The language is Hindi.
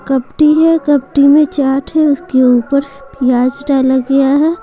कपटी है कपटी में चाट है उसके ऊपर प्याज डाला गया है।